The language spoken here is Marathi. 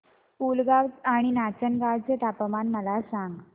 पुलगांव आणि नाचनगांव चे तापमान मला सांग